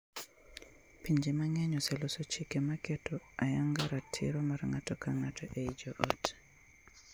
Pinje mang’eny oseloso chike ma keto ayanga ratiro mar ng’ato ka ng’ato ei joot.